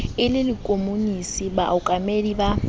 e le lekomonisi baokamedi ba